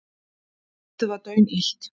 Loftið var daunillt.